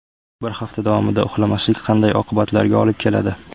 Bir hafta davomida uxlamaslik qanday oqibatlarga olib keladi?.